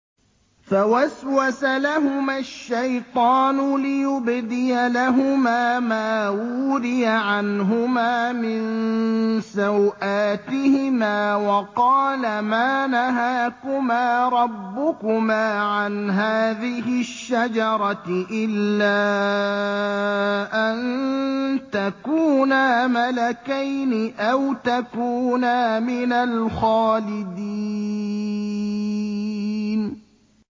فَوَسْوَسَ لَهُمَا الشَّيْطَانُ لِيُبْدِيَ لَهُمَا مَا وُورِيَ عَنْهُمَا مِن سَوْآتِهِمَا وَقَالَ مَا نَهَاكُمَا رَبُّكُمَا عَنْ هَٰذِهِ الشَّجَرَةِ إِلَّا أَن تَكُونَا مَلَكَيْنِ أَوْ تَكُونَا مِنَ الْخَالِدِينَ